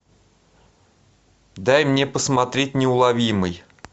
дай мне посмотреть неуловимый